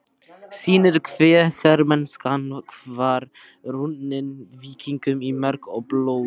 sýnir hve hermennskan var runnin víkingum í merg og blóð.